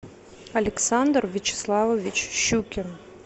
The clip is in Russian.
александр вячеславович щукин